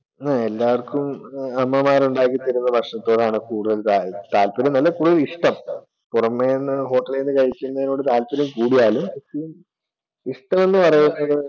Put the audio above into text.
എല്ലാര്‍ക്കും അമ്മമാർ ഉണ്ടാക്കി തരുന്ന ഭക്ഷണത്തോടാണ് കൂടുതൽ താല്പര്യമെന്നല്ല, കൂടുതൽ ഇഷ്ടം. പുറമെന്ന് hotel ന്നു കഴിക്കുന്നതിനോടുള്ള താല്പര്യം കൂടിയാലും, ഇഷ്ടമെന്ന് പറയപ്പെടുന്നത്